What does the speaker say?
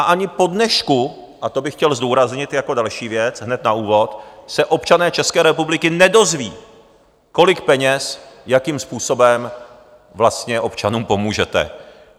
A ani po dnešku, a to bych chtěl zdůraznit jako další věc hned na úvod, se občané České republiky nedozví, kolik peněz jakým způsobem vlastně občanům pomůžete.